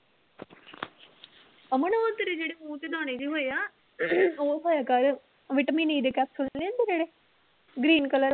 ਤੇਰੇ ਜਿਹੜੇ ਮੂੰਹ ਤੇ ਦਾਣੇ ਜਿਹੇ ਹੋਏ ਆ ਉਹ ਖਾਇਆ ਕਰ ਵਿਟਾਮਿਨ e ਦੇ capsule ਨੀ ਹੁੰਦੇ ਜਿਹੜੇ green color